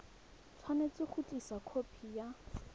tshwanetse go tlisa khopi ya